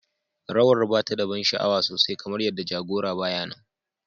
Rawar ba ta da ban sha'awa sosai kamar yadda jagora ba ya nan.